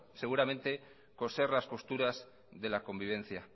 seguramente coser las costuras de la convivencia